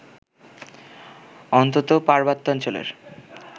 অন্তত পার্বত্যাঞ্চলের